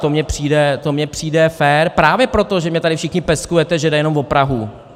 To mi přijde fér právě proto, že mě tady všichni peskujete, že jde jenom o Prahu.